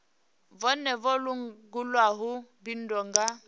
vhone vha langulaho bindu nga